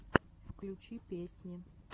включи песни